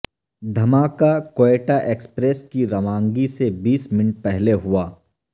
دھماکہ کوئٹہ ایکپریس کی روانگی سے بیس منٹ پہلے ہوا